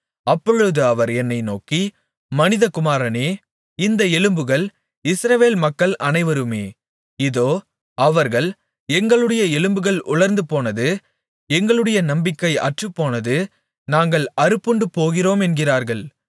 அப்பொழுது அவர் என்னை நோக்கி மனிதகுமாரனே இந்த எலும்புகள் இஸ்ரவேல் மக்கள் அனைவருமே இதோ அவர்கள் எங்களுடைய எலும்புகள் உலர்ந்துபோனது எங்களுடைய நம்பிக்கை அற்றுப்போனது நாங்கள் அறுப்புண்டுபோகிறோம் என்கிறார்கள்